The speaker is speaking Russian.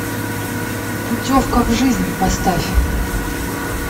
путевка в жизнь поставь